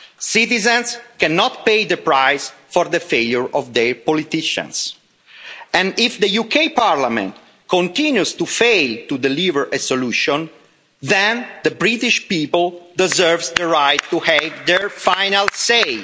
Citizens cannot pay the price for the failure of their politicians, and, if the UK Parliament continues to fail to deliver a solution, then the British people deserve the right to have their final say.